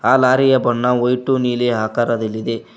ಆ ಲಾರಿ ಯ ಬಣ್ಣ ವೈಟು ನೀಲಿ ಆಕಾರದಲ್ಲಿದೆ.